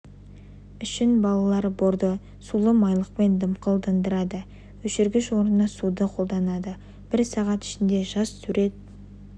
үшін балалар борды сулы майлықпен дымқылдандырады өшіргіш орнына суды қолданады бір сағат ішінде жас сурет